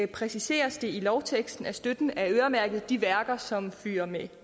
præciseres det i lovteksten at støtten er øremærket de værker som fyrer med